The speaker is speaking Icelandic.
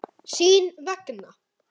Sín vegna.